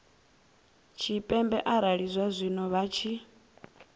tshipembe arali zwazwino vha tshi